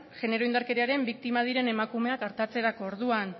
genero indarkeriaren biktima diren emakumeak artatzerako orduan